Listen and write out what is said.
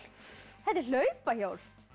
þetta er hlaupahjól